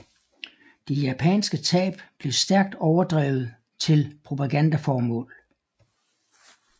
De japanske tab blev stærkt overdrevet til propagandaformål